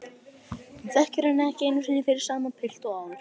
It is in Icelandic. Hún þekkir hann ekki fyrir sama pilt og áður.